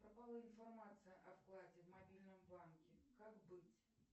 пропала информация о вкладе в мобильном банке как быть